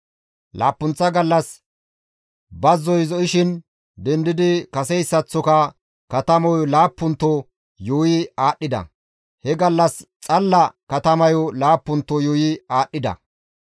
Laappunththa gallas bazzoy zo7ishin dendidi kaseyssaththoka katamayo laappunto yuuyi aadhdhida; he gallas xalla katamayo laappunto yuuyi aadhdhida.